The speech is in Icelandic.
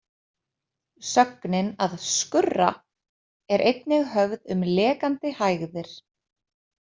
Sögnin að „skurra“ er einnig höfð um lekandi hægðir.